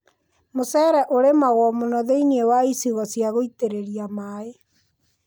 Mũcere ũrĩmagwo mũno thĩiniĩ wa icigo cia gũitĩrĩria maaĩ.